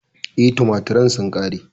E, tumaturen sun ƙare.